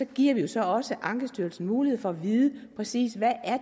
giver vi så også ankestyrelsen mulighed for at vide præcis hvad